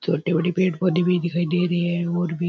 छोटे बड़े पेड़ पौधे भी दिखाई दे रहे है और भी --